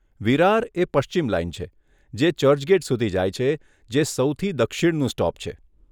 વિરાર એ પશ્ચિમ લાઈન છે, જે ચર્ચગેટ સુધી જાય છે, જે સૌથી દક્ષિણનું સ્ટોપ છે.